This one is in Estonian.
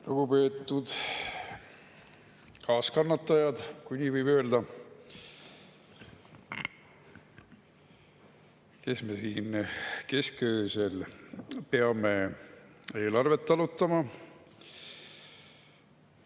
Lugupeetud kaaskannatajad, kui nii võib öelda, kes me siin keskööl peame eelarvet arutama!